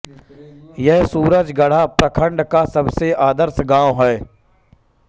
यह सुरजगढ़ा प्रखंड का सबसे आदर्श गांव है